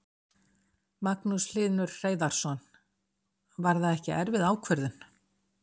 Magnús Hlynur Hreiðarsson: Var það ekki erfið ákvörðun?